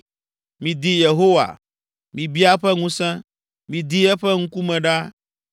Midi Yehowa, mibia eƒe ŋusẽ, Midi eƒe ŋkume ɖaa.